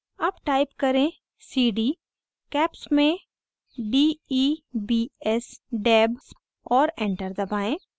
अब type करें: cd caps में debs और enter दबाएं